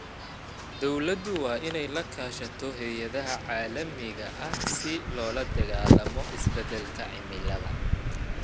Dawladdu waa in ay la kaashato hay�adaha caalamiga ah si loola dagaalamo isbeddelka cimilada.